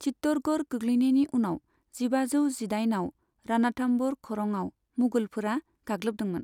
चित्तौड़गढ़ गोग्लैनायनि उनाव जिबाजौ दजिदाइनआव राणथाम्भौर खरंआव मुगलफोरा गाग्लोबदोंमोन।